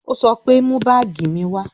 Ó sọ pé "Mú báàgì mi wá"